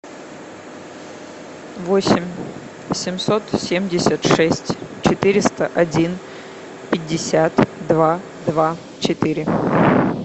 восемь семьсот семьдесят шесть четыреста один пятьдесят два два четыре